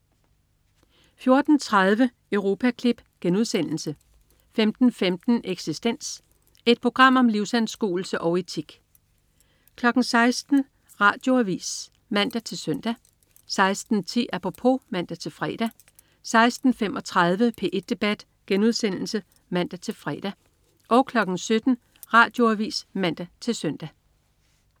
14.30 Europaklip* 15.15 Eksistens. Et program om livsanskuelse og etik 16.00 Radioavis (man-søn) 16.10 Apropos (man-fre) 16.35 P1 debat* (man-fre) 17.00 Radioavis (man-søn)